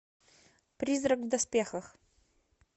призрак в доспехах